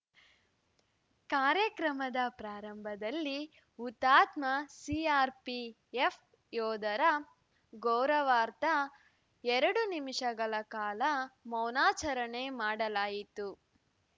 ಕಾರ್ಯಕ್ರಮದ ಪ್ರಾರಂಭದಲ್ಲಿ ಹುತಾತ್ಮ ಸಿಆರ್‌ಪಿಎಫ್‌ ಯೋಧರ ಗೌರವಾರ್ಥ ಎರಡು ನಿಮಿಷಗಳ ಕಾಲ ಮೌನಾಚರಣೆ ಮಾಡಲಾಯಿತು